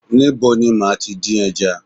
Níbo ni màá tí dín ẹja?